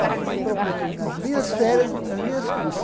Olha, eu me proponho a ir nas minhas férias, nas minhas